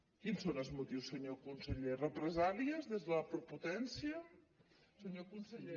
quins són els motius senyor conseller represàlies des de la prepotència senyor conseller